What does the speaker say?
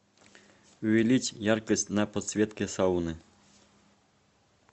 увеличь яркость на подсветке сауны